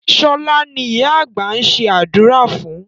Sọlá ni ìyá àgbà ń ṣe àdúrà fún